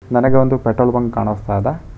ನನಗೆ ಒಂದು petrol bunk ಕಾಣಸ್ತಾಯಿದೆ.